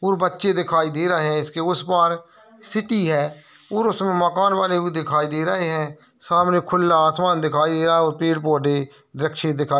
ओर बच्चे दिखाई दे रहे हैं इसके उस पार सिटी है और उसमें मकान बने हुए भी दे रहे हैं| सामने खुला आसमान दिखाई दे रहा है और पेड़ पौधे वृक्ष दिखाई --